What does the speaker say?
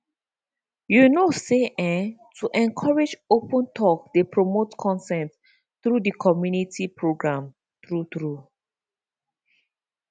you know say ehhn to encourage open talk dey promote consent through di community programs pause true true